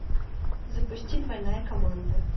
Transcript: запусти двойная команда